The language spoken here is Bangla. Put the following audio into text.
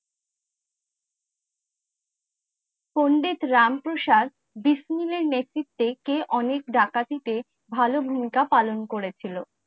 পণ্ডিত রাম প্রসাদ বিস মিলের নেতৃত্বে কে অনেক ডাকাটি তে ভালো ভূমিকা পালন করে ছিলো।